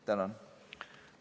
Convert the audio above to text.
Tänan!